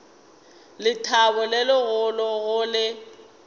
lethabo le legolo go le